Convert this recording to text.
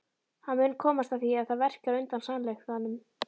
Hann mun komast að því að það verkjar undan sannleikanum.